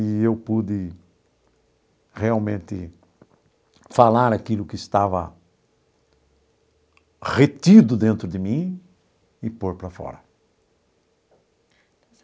E eu pude realmente falar aquilo que estava retido dentro de mim e pôr para fora.